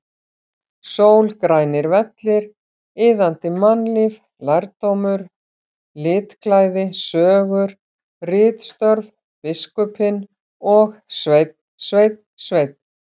Sól, grænir vellir, iðandi mannlíf, lærdómur, litklæði, sögur, ritstörf, biskupinn og Sveinn, Sveinn, Sveinn!!!